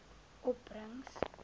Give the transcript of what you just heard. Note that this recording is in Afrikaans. opbrengs